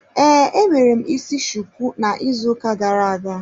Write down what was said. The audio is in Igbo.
Ee, emere m isi shuku na ịzụ ụka gara-aga.